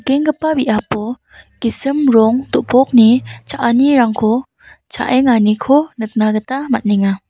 nikenggipa biapo gisim rong do·bokni cha·anirangko cha·enganiko nikna gita man·enga.